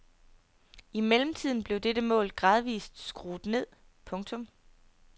I mellemtiden blev dette mål gradvist skruet ned. punktum